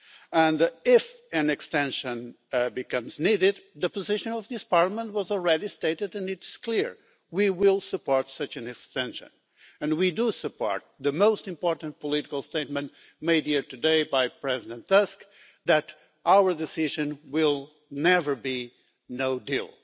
And, if an extension becomes needed, the position of this Parliament was already stated and it's clear we will support such an extension and we do support the most important political statement made here today by President Tusk, that our decision will never be no-deal.